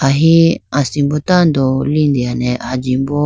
aho asimbo tando litene ajimbo.